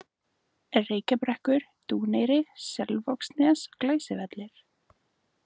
Reykjabrekkur, Dúneyri, Selvogsnes, Glæsivellir